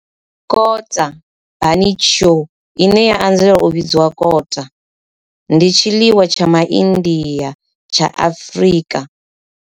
Kota, bunny chow, ine ya anzela u vhidzwa kota, ndi tshiḽiwa tsha MA India tsha Afrika.